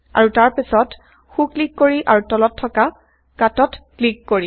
আৰু তাৰ পাছত সো ক্লিক কৰি আৰু তলত160থকা Cutত ক্লিক কৰি